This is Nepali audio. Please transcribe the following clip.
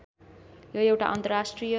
यो एउटा अन्तर्राष्ट्रिय